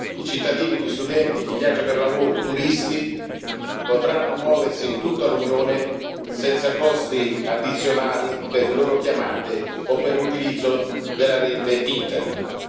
I cittadini, gli studenti, chi viaggia per lavoro e i turisti potranno muoversi in tutta l'Unione senza costi addizionali per le loro chiamate o per l'utilizzo della rete Internet.